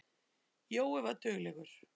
Jói var duglegur.